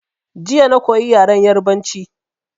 Jiya na koyi yaren Yarabanci